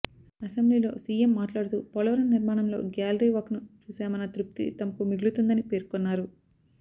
అసెంబ్లీలో సీఎం మాట్లాడుతూ పోలవరం నిర్మాణంలో గ్యాలరీ వాక్ను చూశామన్న తృప్తి తమకు మిగులుతుందని పేర్కొన్నారు